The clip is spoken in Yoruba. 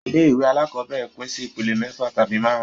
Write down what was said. Ilé ìwé alákọ́bẹ̀rẹ̀ pín sí ìpele mẹ́fà tabi máàrún